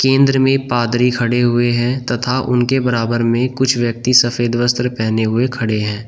केन्द्र में पादरी खड़े हुए हैं तथा उनके बराबर में कुछ व्यक्ति सफेद वस्त्र पहने हुए खड़े हैं।